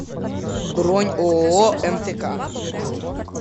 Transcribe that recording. бронь ооо мтк